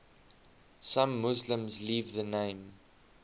some muslims leave the name